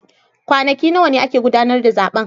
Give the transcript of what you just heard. Kwanaki nawa ne ake gudanar da zaben